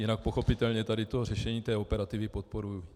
Jinak pochopitelně tady to řešení té operativy podporuji.